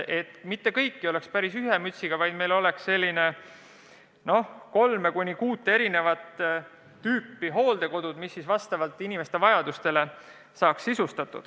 Need ei peaks olema päris ühe mütsiga löödud, võiks olla kolme kuni kuut erinevat tüüpi hooldekodud, mis on sisustatud vastavalt inimeste vajadustele.